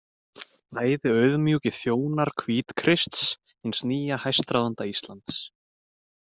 Bæði auðmjúkir þjónar Hvítakrists, hins nýja hæstráðanda Íslands.